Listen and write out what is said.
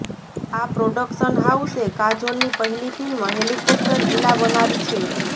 આ પ્રોડક્શન હાઉસે કાજોલની પહેલી ફિલ્મ હેલીકોપ્ટર ઈલા બનાવી છે